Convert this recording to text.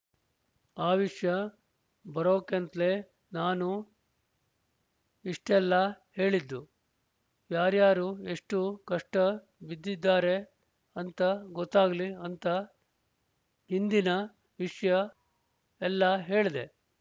ಆ ವಿಷ್ಯ ಬರೋಕೇಂತ್ಲೆ ನಾನ್ ಇಷ್ಟೆಲ್ಲ ಹೇಳಿದ್ದು ಯಾರ್ಯಾರು ಎಷ್ಟು ಕಷ್ಟ ಬಿದ್ದಿದಾರೆ ಅಂತ ಗೊತ್ತಾಗ್ಲಿ ಅಂತ ಹಿಂದಿನ ವಿಷ್ಯ ಎಲ್ಲಾ ಹೇಳ್ದೆ